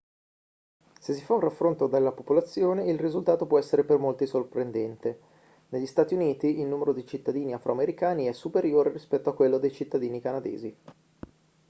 se si fa un raffronto della popolazione il risultato può essere per molti sorprendente negli stati uniti il numero di cittadini afroamericani è superiore rispetto a quello dei cittadini canadesi